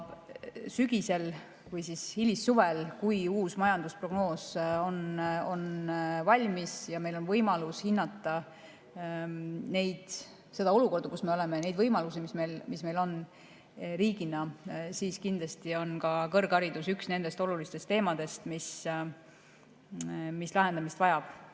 Sügisel või hilissuvel, kui uus majandusprognoos on valmis ja meil on võimalus hinnata seda olukorda, kus me oleme, neid võimalusi, mis meil riigina on, siis kindlasti on kõrgharidus üks nendest olulistest teemadest, mis lahendamist vajab.